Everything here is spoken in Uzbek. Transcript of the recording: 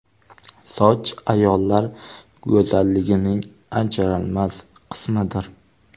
Soch ayollar go‘zalligining ajralmas qismidir.